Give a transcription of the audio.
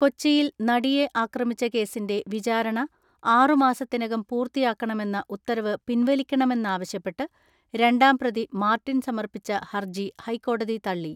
കൊച്ചിയിൽ നടിയെ ആക്രമിച്ച കേസിന്റെ വിചാരണ ആറു മാസത്തിനകം പൂർത്തിയാക്കണമെന്ന ഉത്തരവ് പിൻവലിക്കണമെന്നാവശ്യപ്പെട്ട് രണ്ടാം പ്രതി മാർട്ടിൻ സമർപ്പിച്ച ഹർജി ഹൈക്കോടതി തള്ളി.